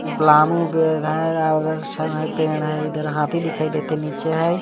प्लामो है उधर छण है पेड़ है इधर हाथी दिखाई देते नीचे है.